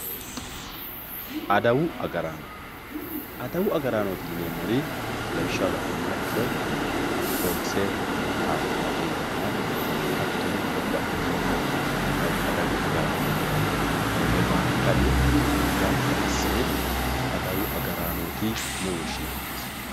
adawu agaraano adawu agaraanooti yineemoti lawishshaho la'numoha ikkiro polise taxaaqe yinanna hattono babbaxitinno adawu agaraano konne baalankanni gamba assine adawu agaraanooti yine woshshinannissa.